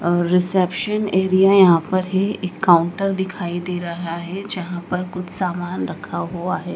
और reception area यहां पर है एक काउंटर दिखाई दे रहा है जहां पर कुछ सामान रखा हुआ है।